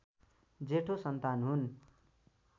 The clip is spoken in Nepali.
जेठो सन्तान हुन्